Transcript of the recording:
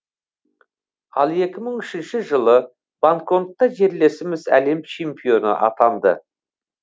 ал екі мың үшінші жылы бангкокта жерлесіміз әлем чемпионы атанды